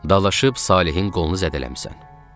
Dalaşıb Salehin qolunu zədələmisən.